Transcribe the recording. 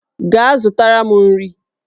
Gaa zụtara m nri!